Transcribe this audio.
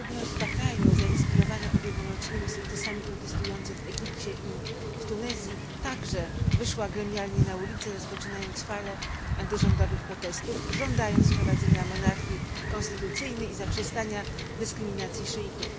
Ludność Bahrajnu zainspirowana ubiegłorocznymi sukcesami protestujących w Egipcie i w Tunezji także wyszła gremialnie na ulice, rozpoczynając falę antyrządowych protestów, żądając wprowadzenia monarchii konstytucyjnej i zaprzestania dyskryminacji szyitów.